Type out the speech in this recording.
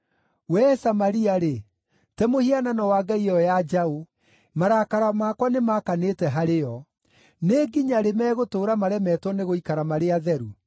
Wee Samaria-rĩ, te mũhianano wa ngai ĩyo ya njaũ! Marakara makwa nĩmakanĩte harĩ yo. Nĩ nginya-rĩ megũtũũra maremetwo nĩgũikara marĩ atheru?